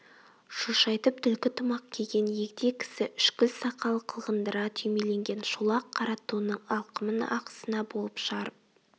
шошайтып түлкі тымақ киген егде кісі үшкіл сақалы қылғындыра түймеленген шолақ қара тонның алқымын ақ сына болып жарып